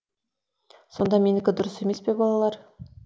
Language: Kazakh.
сонда менікі дұрыс емес пе балалар